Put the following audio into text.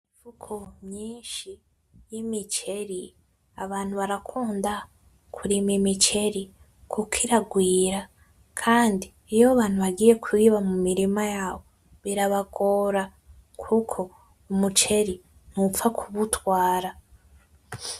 Imifuko myinshi y'imiceri, abantu barakunda kurima umuceri, kuko irarwira kandi iyo abantu bagiye kuyiba mumirima yabo birabagora ,kuko umiceri ntupfa kuwutwara.